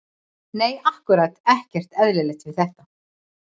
Nei ákkúrat ekkert eðlilegt við þetta.